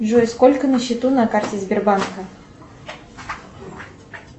джой сколько на счету на карте сбербанка